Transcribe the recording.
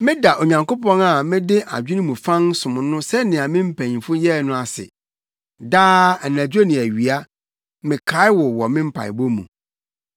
Meda Onyankopɔn a mede adwene mu fann som no sɛnea me mpanyimfo yɛe no ase. Daa, anadwo ne awia, mekae wo wɔ me mpaebɔ mu.